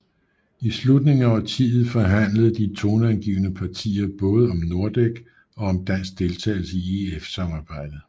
I slutningen af årtiet forhandlede de toneangivende partier både om Nordek og om dansk deltagelse i EF samarbejdet